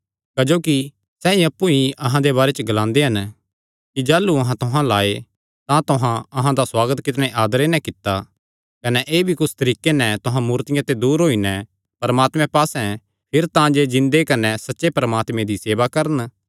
क्जोकि सैई अप्पु ई अहां दे बारे च ग्लांदे हन कि जाह़लू अहां तुहां अल्ल आये तां तुहां अहां दा सुआगत कितणे आदरे नैं कित्ता कने एह़ भी कि कुस तरीके नैं तुहां मूर्तियां ते दूर होई नैं परमात्मे पास्से फिरे तांजे जिन्दे कने सच्चे परमात्मे दी सेवा करन